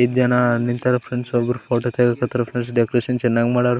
ಐದ್ ಜನ ನಿಲ್ತಾರ ಫ್ರೆಂಡ್ಸ್ ಒಬ್ರು ಫೊಟೊ ತೆಗಿಕತ್ತರ ಫ್ರೆಂಡ್ಸ್ ಡೆಕೊರೇಷನ್ ಚೆನ್ನಗ್ ಮಾಡಾರ್ --